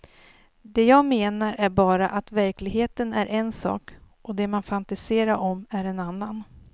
Det jag menar är bara att verkligheten är en sak, och det man fantiserar om är en annan.